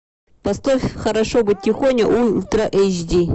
поставь хорошо быть тихоней ультра эйч ди